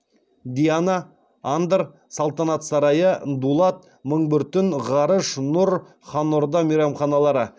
диана андр салтанат сарайы дулат мың бір түн ғарыш нұр хан орда мейрамханалары